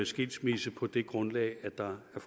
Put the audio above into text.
skilsmisse på det grundlag at der er